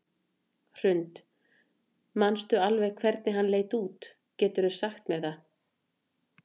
Hrund: Manstu alveg hvernig hann leit út, geturðu sagt mér það?